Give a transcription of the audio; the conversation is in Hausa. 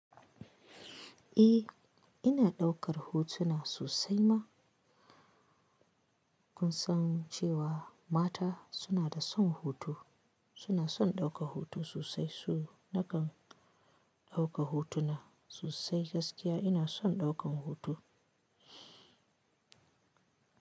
E, ina ɗaukar hutu suna sosai ma. Kun san cewa mata suna da son hoto, suna son ɗaukan hoto sosai. Su na kan ɗauka hutu na sosai. Gaskiya ina son ɗaukan hoto.